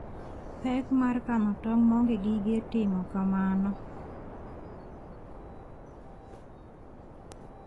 Pek mar kano tong' maonge gige timo kamano.